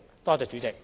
多謝主席。